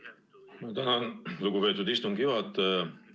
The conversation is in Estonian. Ma tänan, lugupeetud istungi juhataja!